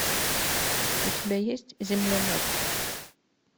у тебя есть земля мертвых